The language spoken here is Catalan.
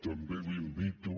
també l’invito